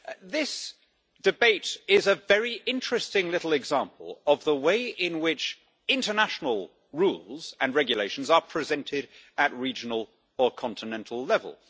This debate is a very interesting little example of the way in which international rules and regulations are presented at regional or continental level.